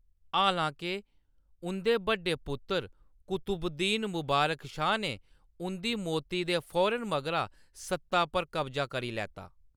हालांके, उंʼदे बड्डे पुत्तर कुतुबुद्दीन मबारक शाह ने उंʼदी मौती दे फौरन मगरा सत्ता पर कब्जा करी लैता।